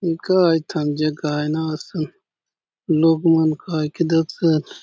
ए काय थान जगह आय ना असन लोक मन काय के दखसन।